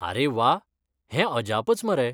आरे वा! हें अजापच, मरे!